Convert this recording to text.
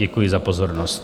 Děkuji za pozornost.